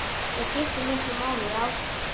Það skiptir miklu máli, já.